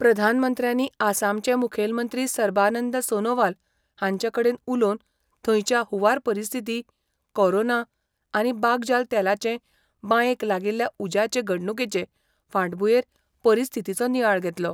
प्रधानमंत्र्यांनी आसामाचे मुखेलमंत्री सर्बानंद सोनोवाल हांचे कडेन उलोवन थंयच्या हुंवार परिस्थिती, कोरोना आनी बागजाल तेलाचे बायेंक लागिल्ल्या उज्याचे घडणुकेचे फाटभुंयेर परिस्थितीचो नियाळ घेतलो.